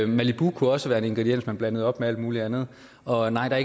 malibu kunne også være en ingrediens man blandede op med alt muligt andet og nej der